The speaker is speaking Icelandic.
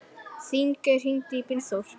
Þingey, hringdu í Brynþór.